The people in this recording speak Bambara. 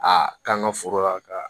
A k'an ka foro la ka